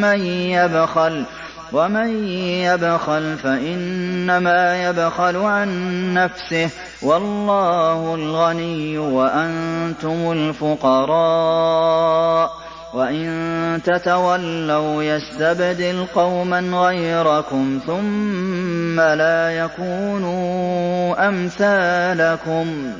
مَّن يَبْخَلُ ۖ وَمَن يَبْخَلْ فَإِنَّمَا يَبْخَلُ عَن نَّفْسِهِ ۚ وَاللَّهُ الْغَنِيُّ وَأَنتُمُ الْفُقَرَاءُ ۚ وَإِن تَتَوَلَّوْا يَسْتَبْدِلْ قَوْمًا غَيْرَكُمْ ثُمَّ لَا يَكُونُوا أَمْثَالَكُم